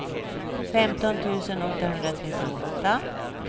femton tusen åttahundratrettioåtta